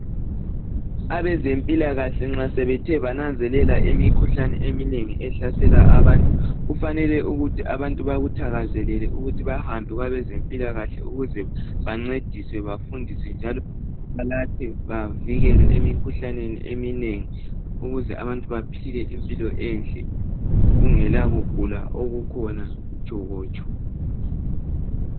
Abezempilakahle nxa sebethe bananzelela imikhuhlane eminengi ehlasela abantu kufanele ukuthi abantu bakuthakazelele ukuthi bahambe kwabezempilakahle ukuze bancediswe bafundiswe njalo balatshwe bavikelwe emikhuhlaneni eminengi ukuze abantu baphile impilo enhle kungela ukugula okukhona mtshokotsho .